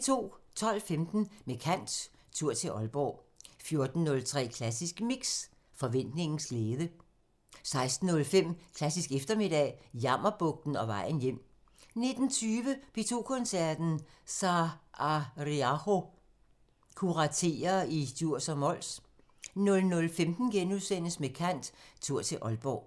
12:15: Med kant – Tur til Ålborg 14:03: Klassisk Mix – Forventningens glæde 16:05: Klassisk eftermiddag – Jammerbugten og vejen hjem 19:20: P2 Koncerten – Saariaho kuraterer i Djurs og Mols 00:15: Med kant – Tur til Ålborg *